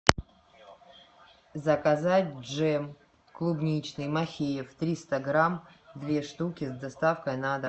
заказать джем клубничный махеев триста грамм две штуки с доставкой на дом